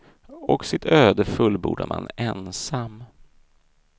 Och sitt öde fullbordar man ensam.